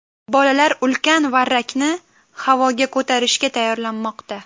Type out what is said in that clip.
Bolalar ulkan varrakni havoga ko‘tarishga tayyorlanmoqda.